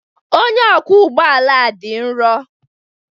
Onye ọkwọ ụgbọ ala a dị nro.